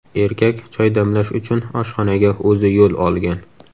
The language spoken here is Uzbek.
Erkak choy damlash uchun oshxonaga o‘zi yo‘l olgan.